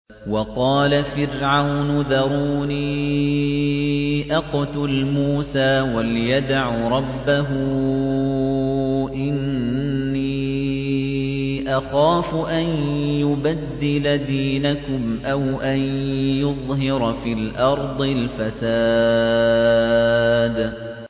وَقَالَ فِرْعَوْنُ ذَرُونِي أَقْتُلْ مُوسَىٰ وَلْيَدْعُ رَبَّهُ ۖ إِنِّي أَخَافُ أَن يُبَدِّلَ دِينَكُمْ أَوْ أَن يُظْهِرَ فِي الْأَرْضِ الْفَسَادَ